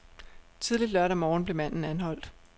Tidligt lørdag morgen blev manden anholdt.